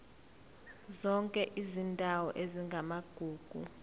zonke izindawo ezingamagugu